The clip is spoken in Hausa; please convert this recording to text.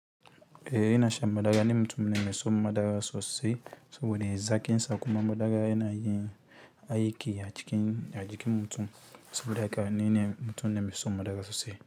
E ina shan madaga ni mutum ne mai son madara sosai saboda zaƙin sa kuma madara yana yin magana aiki a jikin mutum saboda haka ni mutum ne mai son madara sosai.